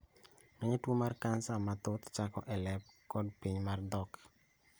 Ngeny tuo mar cancer mar thok chako ka e lep kod piny mat thok